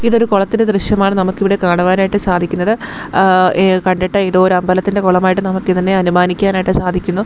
ഇതൊരു കുളത്തിന്റെ ദൃശ്യമാണ് നമുക്കിവിടെ കാണുവാനായിട്ട് സാധിക്കുന്നത് ഏഹ് കണ്ടിട്ട് ഏതോ ഒരു അമ്പലത്തിന്റെ കുളമായിട്ട് നമുക്ക് ഇതിനെ അനുമാനിക്കാൻ ആയിട്ട് സാധിക്കുന്നു.